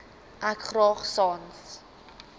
ek graag sans